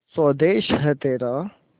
स्वदेस है तेरा